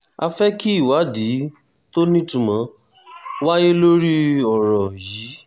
a fẹ́ kí ìwádìí tó nítumọ̀ wáyé lórí ọ̀rọ̀ yìí